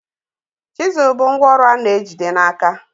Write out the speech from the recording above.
Chizụl bụ ngwa ọrụ a na-ejide n'aka